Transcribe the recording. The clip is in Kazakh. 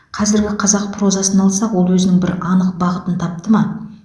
қазіргі қазақ прозасын алсақ ол өзінің бір анық бағытын тапты ма